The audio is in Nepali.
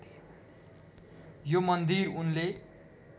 यो मन्दिर उनले